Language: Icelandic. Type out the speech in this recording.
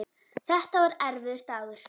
Þetta var erfiður dagur.